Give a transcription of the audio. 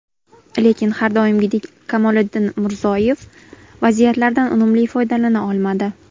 Lekin har doimgidek Kamoliddin Murzoyev vaziyatlardan unumli foydalana olmadi.